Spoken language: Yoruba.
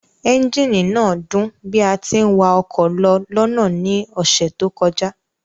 Ẹ́ńjíìnì náà dún bí a tí ń wa ọkọ̀ lọ lọ́nà ní ọ̀sẹ̀ tó kọjá